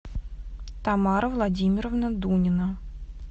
тамара владимировна дунина